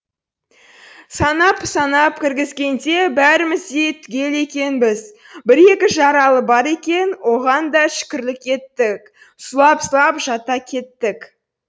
санап санап кіргізгенде бәріміз де түгел екенбіз бір екі жаралы бар екен оған да шүкірлік еттік сұлап сұлап жата кеттік